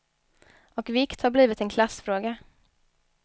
Och vikt har blivit en klassfråga.